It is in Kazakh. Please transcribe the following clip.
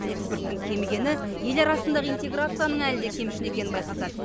экспорттың кемігені ел арасындағы интеграцияның әлі де кемшін екенін байқатады